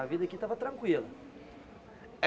A vida aqui estava tranquila.